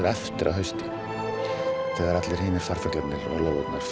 eftir að hausti þegar allar